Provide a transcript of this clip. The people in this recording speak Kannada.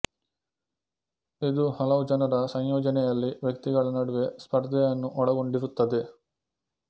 ಇದು ಹಲವು ಜನರ ಸಂಯೋಜನೆಯಲ್ಲಿ ವ್ಯಕ್ತಿಗಳ ನಡುವೆ ಸ್ಪರ್ಧೆಯನ್ನು ಒಳಗೊಂಡಿರುತ್ತದೆ